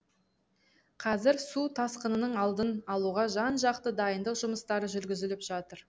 қазір су тасқынының алдын алуға жан жақты дайындық жұмыстары жүргізіліп жатыр